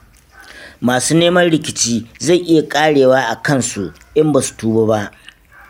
Masu neman rikici, zai iya ƙarewa a kansu, in ba su tuba ba.